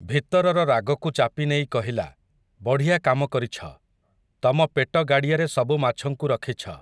ଭିତରର ରାଗକୁ ଚାପିନେଇ କହିଲା, ବଢ଼ିଆ କାମ କରିଛ, ତମ ପେଟ ଗାଡ଼ିଆରେ ସବୁ ମାଛଙ୍କୁ ରଖିଛ ।